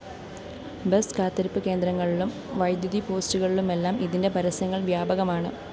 bus കാത്തിരിപ്പ് കേന്ദ്രങ്ങളിലും വൈദ്യുതി പോസ്റ്റുകളിലുമെല്ലാം ഇതിന്റെ പരസ്യങ്ങള്‍ വ്യാപകമാണ്